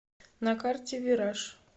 на карте вираж